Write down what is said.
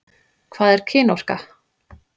Hvað er kynorka?